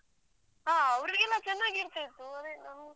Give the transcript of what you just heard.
ಹ ಅವ್ರಿಗೆಲ್ಲಾ ಚೆನ್ನಾಗಿ ಇರ್ತಿತ್ತು ಅದೇ ನಮ್.